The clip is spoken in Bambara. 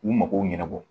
K'u mago ɲɛnabɔ